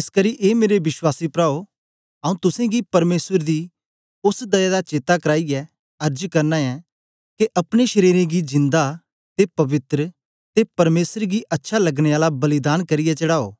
एसकरी ए मेरे विश्वासी प्राओ आऊँ तुसेंगी परमेसर दी ओस दया दा चेता कराईयै अर्ज करना ऐं के अपने शरीरें गी जिंदा ते पवित्र ते परमेसर गी अच्छा लगने आला बलिदान करियै चढ़ाओ